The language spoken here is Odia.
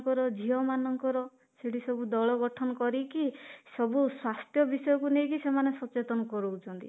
ମାନଙ୍କର ଝିଅ ମାନଙ୍କର ସେଠି ସବୁ ଦଳ ଗଠନ କରିକି ସବୁ ସ୍ୱାସ୍ଥ୍ୟ ବିଷୟକୁ ନେଇକି ସେମାନେ ସଚେତନ କରଉଛନ୍ତି